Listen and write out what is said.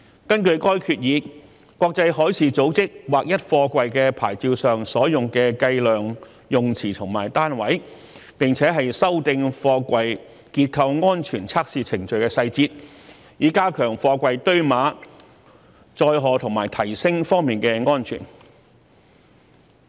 根據該決議，國際海事組織劃一貨櫃牌照上所用的計量用詞和單位，並且修訂貨櫃結構安全測試程序的細節，以加強貨櫃堆碼、載荷和提升方面的安全。